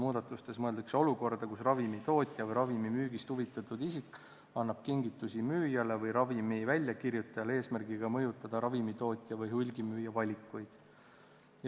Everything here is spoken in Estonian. Muudatustes mõeldakse olukorda, kus ravimitootja või ravimi müügist huvitatud isik annab kingitusi müüjale või ravimi väljakirjutajale, eesmärgiga mõjutada ravimitootja või hulgimüüja valikuid.